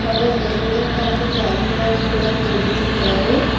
ಹೋಗೋ ಮೇಲ್ಗಡೆ ನಾಲ್ಕು ಫ್ಯಾನ್ಗಳನ್ನು ಕೊಡಿಸಿದ್ದಾರೆ.